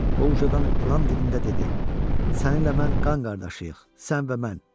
O ucadan ilan dilində dedi: Səninlə mən qan qardaşıyıq, sən və mən.